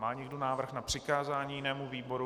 Má někdo návrh na přikázání jinému výboru?